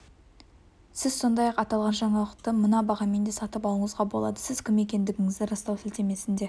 сіз сондай-ақ аталған жаңалықты мына бағамен де сатып алуыңызға болады сіз кім екендігіңізді растау сілтемесіне